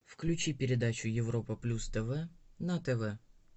включи передачу европа плюс тв на тв